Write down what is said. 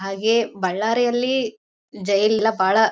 ಹಾಗೆ ಬಳ್ಳಾರಿಯಲ್ಲಿ ಜೈಲಿಲ್ಲ ಬಾಳ--